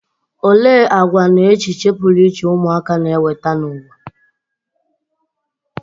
Olee àgwà na echiche pụrụ iche ụmụaka na-eweta n'ụwa?